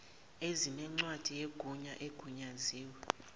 ezinencwadi yegunya ezigunyaziwe